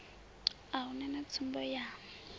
a hu na tsumbo ya